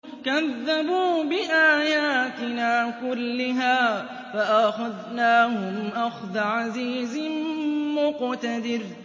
كَذَّبُوا بِآيَاتِنَا كُلِّهَا فَأَخَذْنَاهُمْ أَخْذَ عَزِيزٍ مُّقْتَدِرٍ